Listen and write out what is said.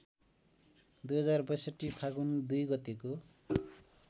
२०६२ फागुन २ गतेको